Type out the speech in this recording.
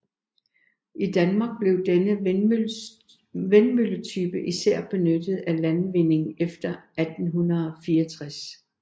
I Danmark blev denne vindmølletype især benyttet til landvinding efter 1864